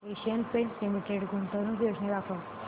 Asian Paints limited गुंतवणूक योजना दाखव